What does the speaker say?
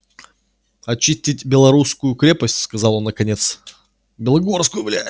очистить белорусскую крепость сказал он наконец белогорскую блять